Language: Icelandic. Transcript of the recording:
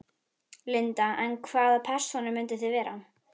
Linda: En hvaða persónur myndið þið vera?